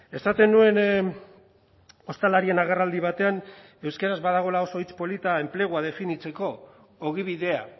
esaten nuen ostalarien agerraldi batean euskaraz badagoela oso hitz polita enplegua definitzeko ogibidea